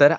तर